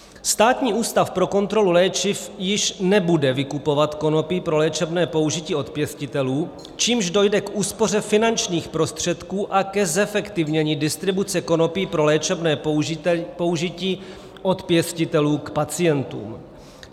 Státní ústav pro kontrolu léčiv již nebude vykupovat konopí pro léčebné použití od pěstitelů, čímž dojde k úspoře finančních prostředků a ke zefektivnění distribuce konopí pro léčebné použití od pěstitelů k pacientům.